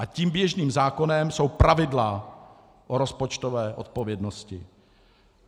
A tím běžným zákonem jsou pravidla o rozpočtové odpovědnosti.